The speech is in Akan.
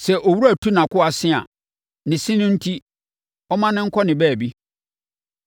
Sɛ owura tu nʼakoa se a, ne se no enti, ɔmma no nkɔ ne baabi.